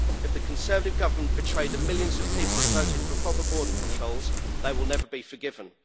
If the Conservative government betray the millions of people who voted for proper border controls they will never be forgiven.